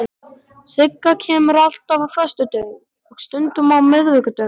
Sigga kemur alltaf á föstudögum og stundum á miðvikudögum.